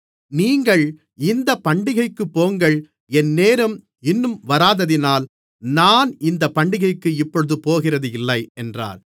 நீங்கள் இந்த பண்டிகைக்குப் போங்கள் என் நேரம் இன்னும் வராததினால் நான் இந்தப் பண்டிகைக்கு இப்பொழுது போகிறதில்லை என்றார்